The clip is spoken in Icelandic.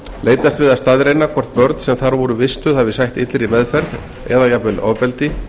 leitast við að staðreynda hvort börn sem þar voru vistuð hafi sætt illri meðferð eða jafnvel ofbeldi